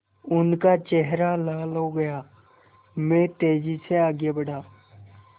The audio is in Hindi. उनका चेहरा लाल हो गया मैं तेज़ी से आगे बढ़ा